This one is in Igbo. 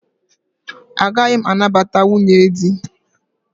Ọ gaghị anabata nwunye di.